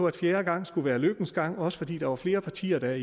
at fjerde gang skulle være lykkens gang også fordi der var flere partier der